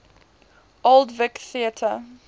old vic theatre